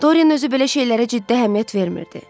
Dorian özü belə şeylərə ciddi əhəmiyyət vermirdi.